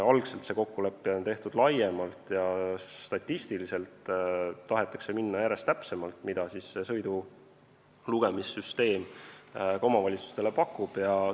Algselt on see kokkulepe tehtud laiemalt, aga statistiliselt tahetakse minna järjest täpsemaks, nii nagu sõidulugemissüsteem omavalitsustele pakub.